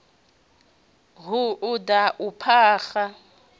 hu u da u phaga